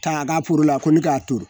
K'a ka la ko ni k'a turu